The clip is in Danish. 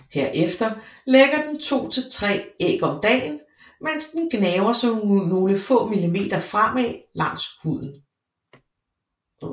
Her efter lægger den to til tre æg om dagen mens den gnaver sig nogle få millimeter fremad langs huden